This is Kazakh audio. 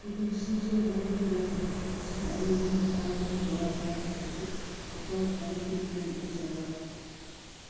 екіншісін сол қолымен жазып үшіншісін әйеліне тағы бірін баласына көшіртіп орталық комитет пен қосарлап